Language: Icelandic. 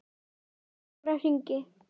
Ég gekk í nokkra hringi.